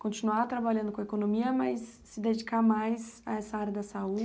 Continuar trabalhando com a economia, mas se dedicar mais a essa área da